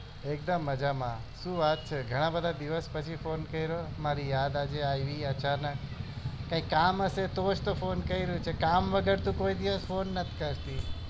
એક દમ મજા માં શું વાત છે ઘણા બધા દિવસ પછી phone કર્યો મારી યાદ્દ આજે આવી આચાનક કઈ કામ હશે તો જ phone તો કર્યો હશે કામ વગર તો કોઈ દિવસ phone નાથ કરતી